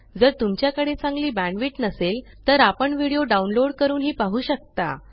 जर तुमच्याकडे चांगली बॅण्डविड्थ नसेल तर आपण व्हिडिओ डाउनलोड करूनही पाहू शकता